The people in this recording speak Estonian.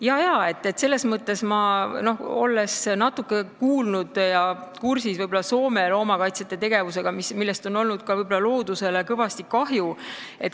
Jaa-jaa, ma olen natuke kursis Soome loomakaitsjate tegevusega, millest on tekkinud võib-olla ka loodusele kõvasti kahju.